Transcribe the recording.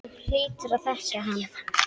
Þú hlýtur að þekkja hann.